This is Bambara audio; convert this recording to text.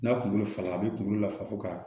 N'a kunkolo falen a bi kunkolo la fa fo ka